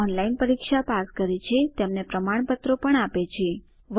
જેઓ ઓનલાઇન પરીક્ષા પાસ કરે છે તેમને પ્રમાણપત્ર આપે છે